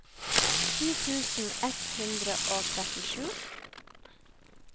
ti tusen ett hundre og trettisju